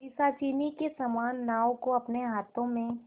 पिशाचिनी के समान नाव को अपने हाथों में